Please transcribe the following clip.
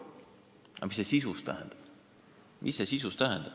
Aga mida see sisuliselt tähendab?